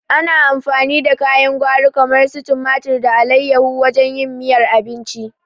Ana amfani da kayan gwari kamar su tumari da alaiyahu wajen yin miyar abinci